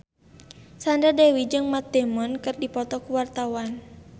Sandra Dewi jeung Matt Damon keur dipoto ku wartawan